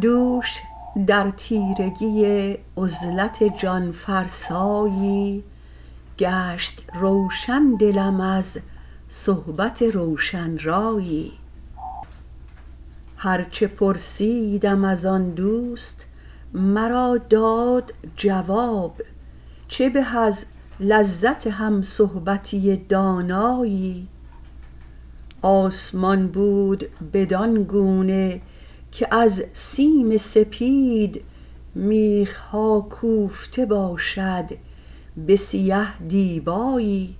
دوش در تیرس عزلت جان فرسایی گشت روشن دلم از صحبت روشن رایی هرچه پرسیدم ازآن دوست مراداد جواب چه به از لذت هم صحبتی دانایی آسمان بود بدانگونه که از سیم سپید میخ ها کوفته باشد به سیه دیبایی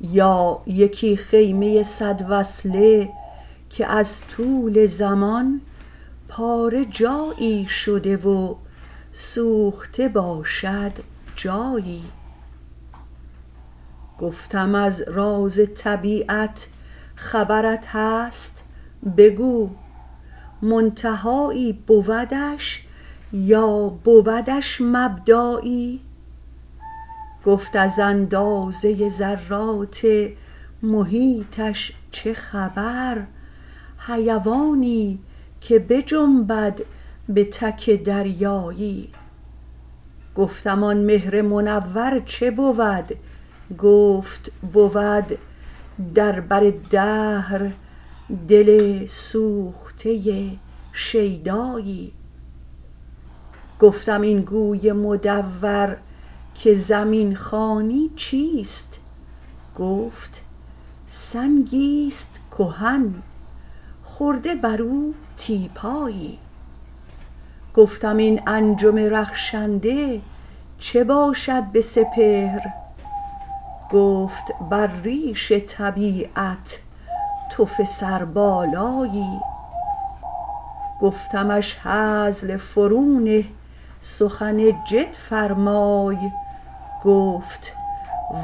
یا یکی خیمه صد وصله که از طول زمان پاره جایی شده و سوخته باشد جایی گفتم از رازطبیعت خبرت هست بگو منتهایی بودش یا بودش مبدایی گفت از اندازه ذرات محیطش چه خبر حیوانی که بجنبد به تک دریایی گفتم آن مهر منور چه بود گفت بود در بر دهر دل سوخته شیدایی گفتم این گوی مدورکه زمین خوانی چیست گفت سنگی است کهن خورده برو تیپایی گفتم این انجم رخشنده چه باشد به سپهر گفت بر ریش طبیعت تف سربالایی گفتمش هزل فرو نه سخن جد فرمای کفت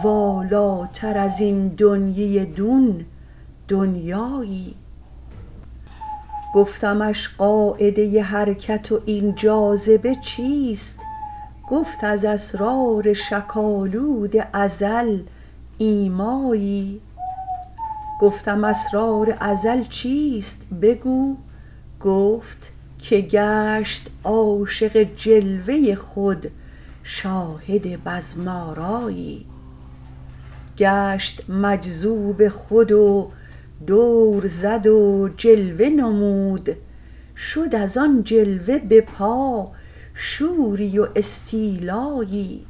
والاتر از این دنیی دون دنیایی گفتمش قاعده حرکت واین جاذبه چیست کفت از اسرار شک آلود ازل ایمایی گفتم اسرار ازل چیست بگو گفت که گشت عاشق جلوه خود شاهد بزم آرایی گشت مجذوب خود و دور زد و جلوه نمود شد از آن جلوه به پا شوری و استیلایی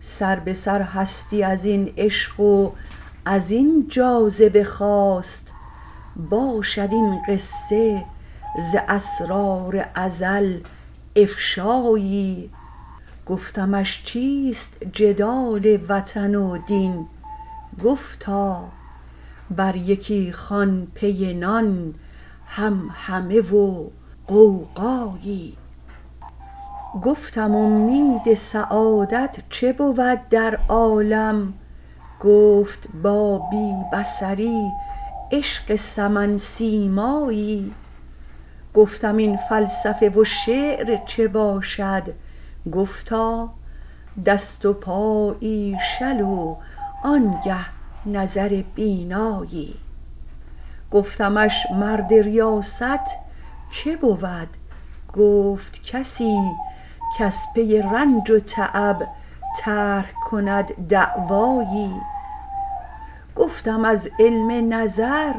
سربه سر هستی ازین عشق و ازین جاذبه خاست باشد این قصه ز اسرار ازل افشایی گفتمش چیست جدال وطن و دین گفتا بر یکی خوان پی نان همهمه و غوغایی گفتم امید سعادت چه بود در عالم گفت با بی بصری عشق سمن سیمایی گفتم این فلسفه و شعر چه باشد گفتا دست و پایی شل وانگه نظر بینایی گفتمش مرد ریاست که بود گفت کسی کز پی رنج و تعب طرح کند دعوایی گفتم از علم نظر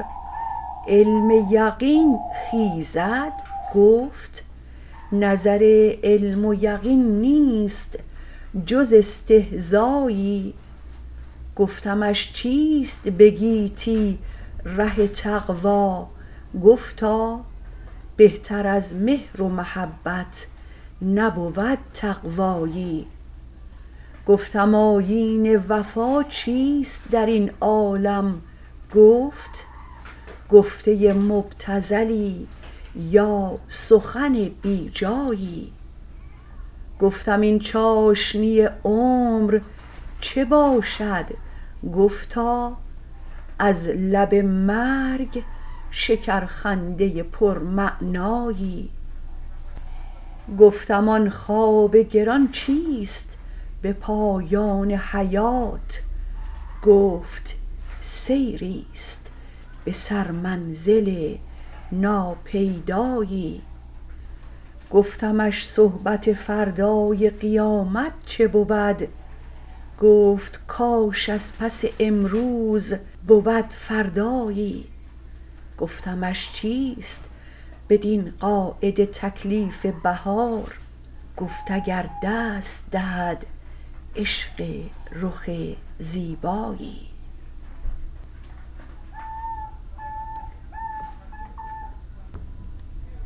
علم یقین خیزد گفت نظر علم و یقین نیست جز استهزایی گفتمش چیست به گیتی ره تقوی گفتا بهتر از مهر و محبت نبود تقوایی گفتم آیین وفا چیست درین عالم گفت گفته مبتذلی یا سخن بی جایی گفتم این چاشنی عمر چه باشد گفتا از لب مرگ شکرخنده پرمعنایی گفتم آن خواب گران چیست به پایان حیات گفت سیریست به سرمنزل ناپیدایی گفتمش صحبت فردای قیامت چه بود گفت کاش از پس امروز بود فردایی گفتمش چیست بدین قاعده تکلیف بهار گفت اگر دست دهد عشق رخ زیبایی